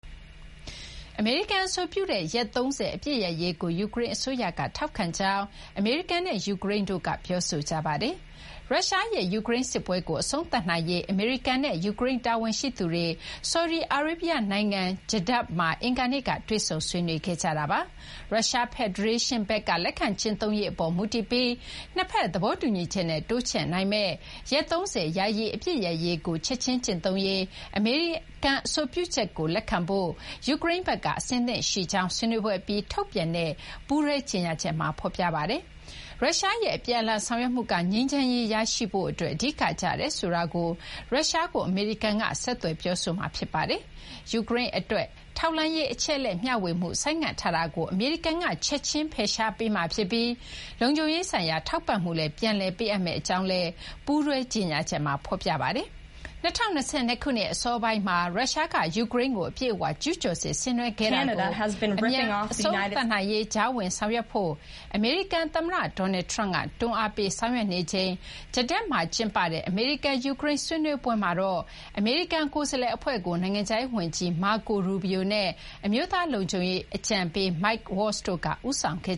အမေရိကန် အဆိုပြုတဲ့ ရက် ၃၀ အပစ်ရပ်ရေးကို ယူကရိန်းအစိုးရက ထောက်ခံကြောင်း အမေရိကန်နဲ့ ယူကရိန်းတို့က ပြောဆိုကြပါတယ်။ ရုရှားရဲ့ ယူကရိန်းစစ်ပွဲကို အဆုံးသတ်နိုင်ရေး အမေရိကန်နဲ့ ယူကရိန်း တာဝန်ရှိသူတွေ ဆော်ဒီအာရေဗျနိုင်ငံ Jeddah မှာ အင်္ဂါနေ့က တွေ့ဆုံ ဆွေးနွေးခဲ့ကြတာပါ။ ရုရှားဖက်ဒရေးရှင်းဘက်က လက်ခံ ကျင့်သုံးရေးအပေါ် မူတည်ပြီး နှစ်ဘက် သဘောတူညီချက်နဲ့ တိုးချဲ့နိုင်မယ့် ရက် ၃၀ ယာယီ အပစ်ရပ်ရေးကို ချက်ချင်းကျင့်သုံးရေး အမေရိကန်က အဆိုပြုချက်ကို လက်ခံဖို့ ယူကရိန်းဘက်က အဆင်သင့်ရှိကြောင်း ဆွေးနွေးပွဲအပြီး ထုတ်ပြန်တဲ့ ပူးတွဲ ကြေညာချက်မှာ ဖော်ပြပါတယ်။ ရုရှားရဲ့ အပြန်အလှန် ဆောင်ရွက်မှုက ငြိမ်းချမ်းရေး ရရှိရေးအတွက် အဓိက ကျတယ်ဆိုတာကို ရုရှားကို အမေရိကန်က ဆက်သွယ်ပြောဆိုမှာ ဖြစ်ပါတယ်။ ယူကရိန်းအတွက် ထောက်လှမ်းရေး အချက်အလက် မျှဝေမှု ဆိုင်းငံ့ထားတာကို အမေရိကန်က ချက်ချင်း ဖယ်ရှားပေးမှာဖြစ်ပြီး လုံခြုံရေးဆိုင်ရာ ထောက်ပံ့မှုလည်း ပြန်လည် ပေးအပ်မယ့်အကြောင်း ပူးတွဲကြေညာချက်မှာ ဖော်ပြထားပါတယ်။ ၂၀၂၂ ခုနှစ် အစောပိုင်းမှာ ရုရှားက ယူကရိန်းကို အပြည့်အ၀ ကျူးကျော်စစ် ဆင်နွှဲခဲ့တာကို အမြန် အဆုံးသတ်နိုင်ရေး ကြားဝင် ဆောင်ရွက်ဖို့ အမေရိကန်သမ္မတ Donald Trump က တွန်းအားပေး ဆောင်ရွက်နေချိန် Jeddah မှာ ကျင်းပတဲ့ အမေရိကန် ယူကရိန်း ဆွေးနွေးပွဲမှာတော့ အမေရိကန် ကိုယ်စားလှယ်အဖွဲ့ကို နိုင်ငံခြားရေးဝန်ကြီး Marco Rubio နဲ့ အမျိုးသား လုံခြုံရေးအကြံပေး Mike Waltz တို့က ဦးဆောင်ခဲ့